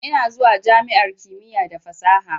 Ina zuwa jami'ar kimiyya da fasaha.